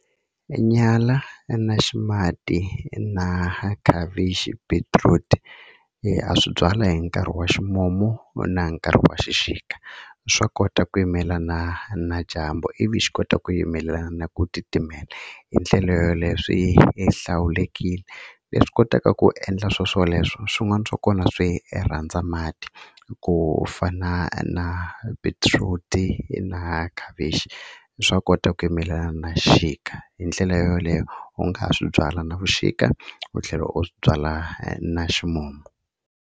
E nyala na ximati na khavichi beetroot-i ha swi byala hi nkarhi wa ximumu na nkarhi wa xixika swa kota ku yimelana na dyambu ivi xi kota ku yimela na ku titimela hi tlhelo leswi hlawulekile leswi kotaka ku endla swo swoleswo swin'wana swa kona swi rhandza mati ku fana na beetroot-i na khavichi swa kota ku yimelana na xixika hi ndlela yoleyo u nga ha swi byala na vuxika u tlhela u swi byala na ximumu.